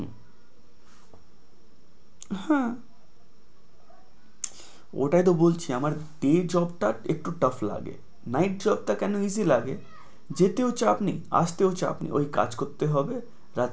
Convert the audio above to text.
হ্যাঁ ওটাই তো বলছি আমার day job টা একটু tough লাগে, night job টা কেন easy লাগে যেতেও চাপ নেই আসতেও চাপ নেই।